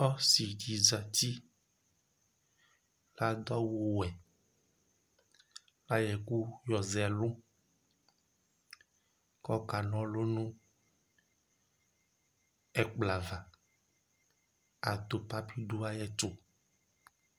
Ɔsɩdɩ zatɩ kʊ adʊ awuwe kʊ ayɔ ɛkʊ yɔzɛ ɛlʊ kʊ ɔkana ɔlʊ nʊ ɛkplɔava atʊpa bɩdʊ ayʊ ɛtʊ